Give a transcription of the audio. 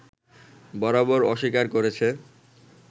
বরাবর অস্বীকার করেছে